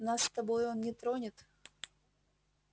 нас с тобой он не тронет